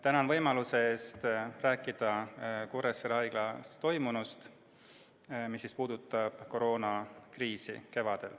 Tänan võimaluse eest rääkida Kuressaare Haiglas toimunust, mis puudutab kevadist koroonakriisi.